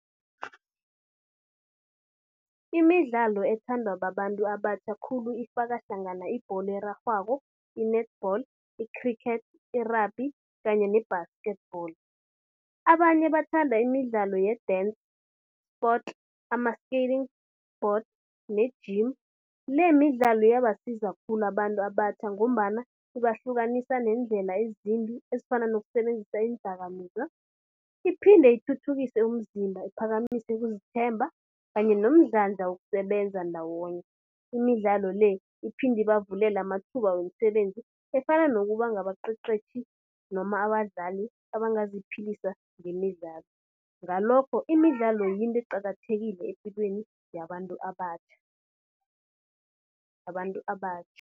Imidlalo ethandwa babantu abatjha khulu ifaka hlangana ibholo erarhwako, i-netball, i-cricket, i-rugby kanye ne-basketball. Abanye bathanda imidlalo ye-dance sports, ama-skating board ne-gym. Lemidlalo iyabasiza khulu abantu abatjha ngombana ibahlukanisa neendlela ezimbi ezifana nokusebenzisa iindakamizwa. Iphinde ithuthukise umzimba, iphakamise ukuzithemba kanye nomdlandla wokusebenza ndawonye. Imidlalo le iphinde ibavulele amathuba wemisebenzi efana nokuba ngabaqeqetjhi noma abadlali abangaziphilisa ngemidlalo. Ngalokho imidlalo yinto eqakathekile epilweni yabantu abatjha, yabantu abatjha.